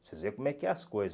Vocês veem como é que é as coisas.